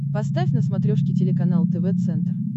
поставь на смотрешке телеканал тв центр